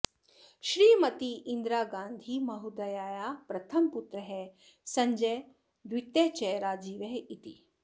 श्रीमती इन्दिरागान्धिमहोदयायाः प्रथमपुत्रः सञ्जयः द्वितीयः च राजीवः इति